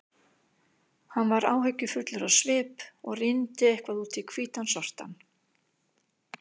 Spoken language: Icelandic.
Hann var áhyggjufullur á svip og rýndi eitthvað út í hvítan sortann.